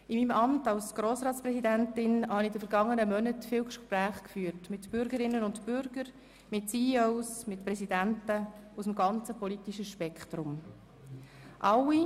In meinem Amt als Grossratspräsidentin habe ich in den vergangenen Monaten viele Gespräche mit Bürgerinnen und Bürgern, CEOs und Präsidenten aus dem ganzen politischen Spektrum geführt.